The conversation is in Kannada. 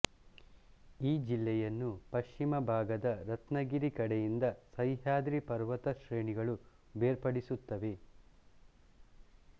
ಈ ಜಿಲ್ಲೆಯನ್ನು ಪಶ್ಚಿಮಭಾಗದ ರತ್ನಗಿರಿ ಕಡೆಯಿಂದ ಸಹ್ಯಾದ್ರಿ ಪರ್ವತ ಶ್ರೇಣಿಗಳು ಬೇರ್ಪಡಿಸುತ್ತವೆ